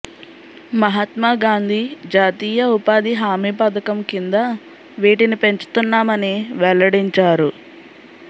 మహాత్మాగాంధీ జాతీయ ఉపాధి హామీ పథకం కింద వీటిని పెంచుతున్నామని వెల్లడించారు